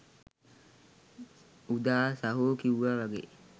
උදා සහෝ කිව්වා වගේ